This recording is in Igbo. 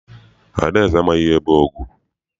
Adaeze amaghị ihe bụ ọgụ.